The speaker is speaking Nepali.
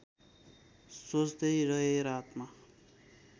सोच्दै रहेँ रातमा